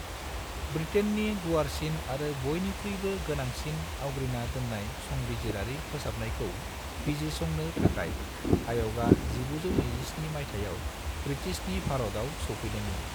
ब्रिटेन्नि गुवारसिन आरो बयनिख्रुयबो गोनांसिन आवग्रिना दोन्नायाव संबिजिरारि फोसाबनायखौ बिजिरसंनो थाखाय आय'गा 1927 माइथायाव ब्रिटिशनि भारताव सौफैदोंमोन।